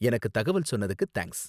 எனக்கு தகவல் சொன்னதுக்கு தேங்க்ஸ்.